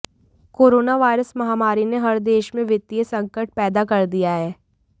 coronavirus महामारी ने हर देश में वित्तीय संकट पैदा कर दिया है